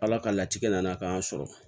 Ala ka latigɛ nana k'an sɔrɔ